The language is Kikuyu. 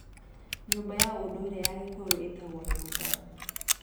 Nyũmba ya ũndũire ya Gikuyu ĩtagwo "nyumba".